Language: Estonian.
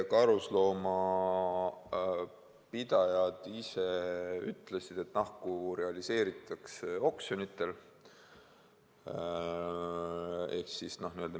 Karusloomapidajad ise on öelnud, et nahku realiseeritakse oksjonitel.